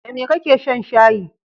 Da me kake shan shayi?